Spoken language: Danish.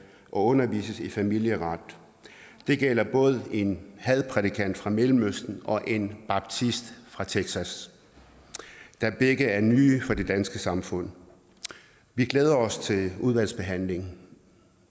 og undervises i familieret det gælder både en hadprædikant fra mellemøsten og en baptist fra texas da begge er nye i det danske samfund vi glæder os til udvalgsbehandlingen